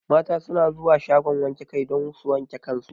Mata su na zuwa shagon wanke kai don su wanke kan su